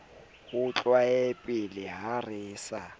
ho tlolapele ha re sa